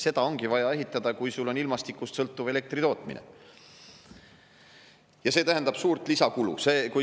Seda ongi vaja ehitada, kui on ilmastikust sõltuv elektritootmine, ja see tähendab suurt lisakulu.